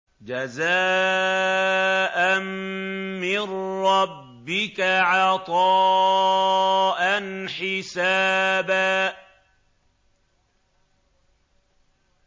جَزَاءً مِّن رَّبِّكَ عَطَاءً حِسَابًا